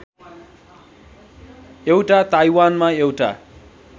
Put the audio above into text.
एउटा ताइवानमा एउटा